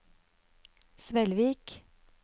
Svelvik